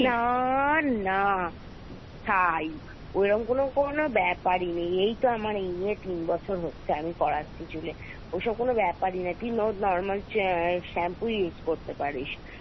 না না ছাই ঐরম কোনো কোনো ব্যাপার ই নেই এইতো আমার এই নিয়ে তিন বছর হচ্ছে আমি করাচ্ছি চুলে ওসব কোনো ব্যাপার ই না তুই normal shampoo use করতে পারিস